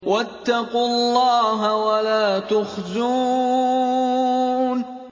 وَاتَّقُوا اللَّهَ وَلَا تُخْزُونِ